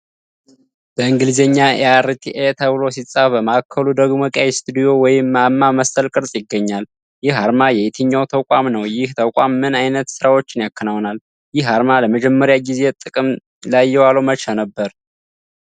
በእንግሊዝኛ "E.R.T.A" ተብሎ ሲጻፍ፣ በማዕከሉ ደግሞ ቀይ ስቱዲዮ ወይም ማማ መሰል ቅርፅ ይገኛል። ይህ አርማ የየትኛው ተቋም ነው? ይህ ተቋም ምን ዓይነት ሥራዎችን ያከናውናል? ይህ አርማ ለመጀመሪያ ጊዜ ጥቅም ላይ የዋለው መቼ ነበር?